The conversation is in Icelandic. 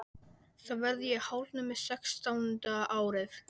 Þá verð ég hálfnuð með sextánda árið.